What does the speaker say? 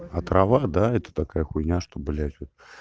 а трава да это такая хуйня что блядь вот